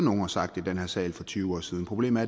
og sagt i den her sal for tyve år siden problemet